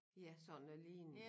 Ja sådan noget lignende